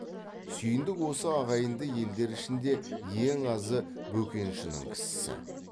сүйіндік осы ағайынды елдер ішінде ең азы бөкеншінің кісісі